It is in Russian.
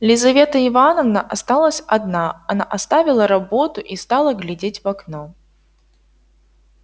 лизавета ивановна осталась одна она оставила работу и стала глядеть в окно